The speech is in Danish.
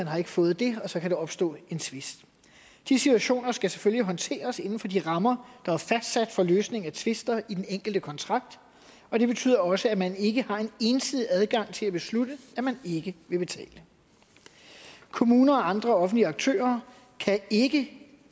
har fået og så kan der opstå en tvist de situationer skal selvfølgelig håndteres inden for de rammer der er fastsat for løsning af tvister i den enkelte kontrakt og det betyder også at man ikke har en ensidig adgang til at beslutte at man ikke vil betale kommuner og andre offentlige aktører kan ikke det